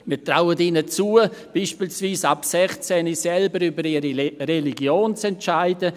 Wir trauen ihnen zu, beispielsweise mit 16 selbst über ihre Religion zu entscheiden;